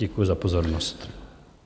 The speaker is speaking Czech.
Děkuji za pozornost.